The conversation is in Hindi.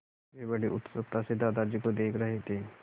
वे बड़ी उत्सुकता से दादाजी को देख रहे थे